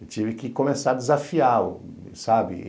Eu tive que começar a desafiar, sabe?